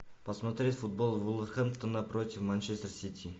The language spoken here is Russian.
посмотреть футбол вулверхэмптона против манчестер сити